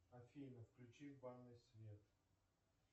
афина включи в ванной свет